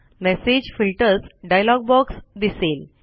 message filters dialog box दिसेल